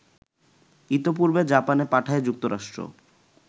ইতপূর্বে জাপানে পাঠায় যুক্তরাষ্ট্র